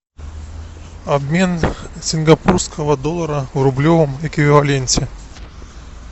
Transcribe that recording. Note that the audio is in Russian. обмен сингапурского доллара в рублевом эквиваленте